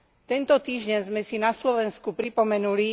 Tento týždeň sme si na Slovensku pripomenuli